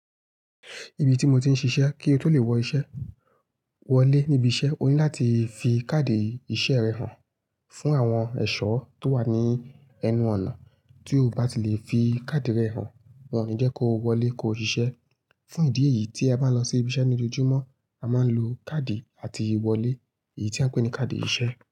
Ibi tí mo ti ń ṣiṣẹ́, kí o tó lè wọ iṣẹ́ wọlé níbi iṣẹ́, o ní láti fi káàdì iṣẹ́ rẹ hàn fún àwọn ẹ̀ṣọ́ tó wà ní ẹnu ọ̀nà. Tí o bá ti lè fi card rẹ hàn wọ́n, ni jẹ́ kó wọlé ko ṣiṣẹ́. Fún ìdí èyí tí a bá ń lọ sí ibi iṣẹ́ ní ojoojúmọ́, a máa ń lo card làti wọlé èyí tí à ń pè ní card iṣẹ́.